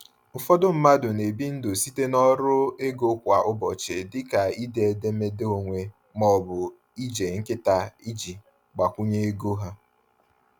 Ụfọdụ mmadụ na-ebi ndụ site n’ọrụ ego kwa ụbọchị dịka ide edemede onwe ma ọ bụ ije nkịta iji gbakwunye ego ha.